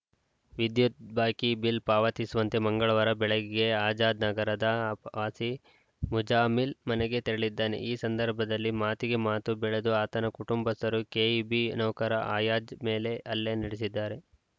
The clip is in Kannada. ವಿದ್ಯುತ್‌ ಬಾಕಿ ಬಿಲ್‌ ಪಾವತಿಸುವಂತೆ ಮಂಗಳವಾರ ಬೆಳಗ್ಗೆ ಆಜಾದ್‌ ನಗರದ ಆ ವಾಸಿ ಮುಜಾಮಿಲ್‌ ಮನೆಗೆ ತೆರಳಿದ್ದಾನೆ ಈ ಸಂದರ್ಭದಲ್ಲಿ ಮಾತಿಗೆ ಮಾತು ಬೆಳೆದು ಆತನ ಕುಟುಂಬಸ್ಥರು ಕೆಇಬಿ ನೌಕರ ಆಯಾಜ್‌ ಮೇಲೆ ಹಲ್ಲೆ ನಡೆಸಿದ್ದಾರೆ